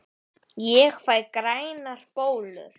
Ég fæ grænar bólur!